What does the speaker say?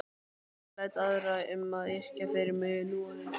Ég læt aðra um að yrkja fyrir mig núorðið.